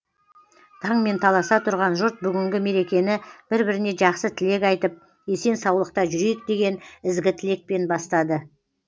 таңмен таласа тұрған жұрт бүгінгі мерекені бір біріне жақсы тілек айтып есен саулықта жүрейік деген ізгі тілекпен бастады